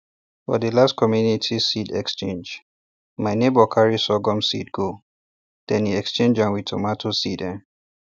for the last community seed exchange my neighbour carry sorghum seed go then e change am wit tomato seed um